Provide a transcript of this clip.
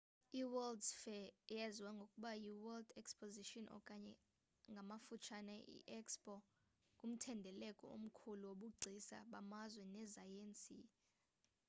i-world’s fair eyaziwa ngokuba yi-world exposition okanye ngamafutshanye i-expo ngumthendeleko omkhulu wobugcisa bamazwe nezesayensi